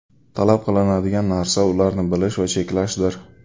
Talab qilinadigan narsa ularni bilish va cheklashdir.